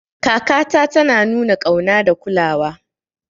Kakata tana nuna ƙauna da kulawa.